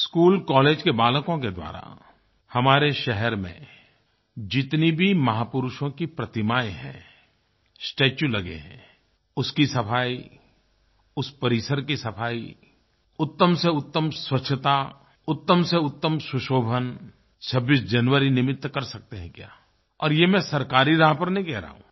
school college के बालकों के द्वारा हमारे शहर में जितनी भी महापुरुषों की प्रतिमायें हैं स्टेच्यू लगे हैं उसकी सफाई उस परिसर की सफाई उत्तम से उत्तम स्वच्छता उत्तम से उत्तम सुशोभन 26 जनवरी निमित्त कर सकते हैं क्या और ये मैं सरकारी राह पर नहीं कह रहा हूँ